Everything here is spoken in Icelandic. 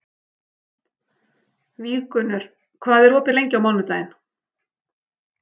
Víggunnur, hvað er opið lengi á mánudaginn?